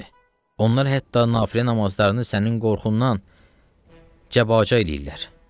Onlar hətta nafilə namazlarını sənin qorxundan cəbəcə eləyirlər.